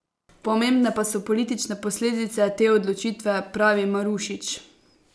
Pomembne pa so politične posledice te odločitve, pravi Marušič.